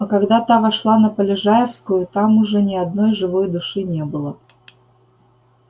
а когда та вошла на полежаевскую там уже ни одной живой души не было